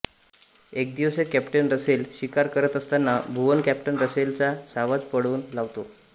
एकेदिवशी captain Russell शिकार करत असताना भुवन कॅप्टन रसेलचे सावज पळवून लावतो